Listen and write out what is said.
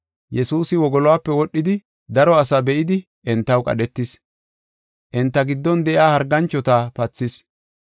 Yesuusi wogoluwape wodhidi daro asaa be7idi entaw qadhetis. Enta giddon de7iya harganchota pathis.